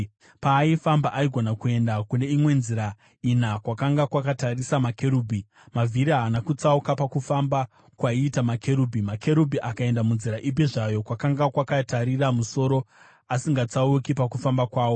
Paaifamba aigona kuenda neimwe yenzira ina kwakanga kwakatarisa makerubhi; mavhiri haana kutsauka pakufamba kwaiita makerubhi. Makerubhi akaenda munzira ipi zvayo kwakanga kwakatarira musoro, asingatsauki pakufamba kwawo.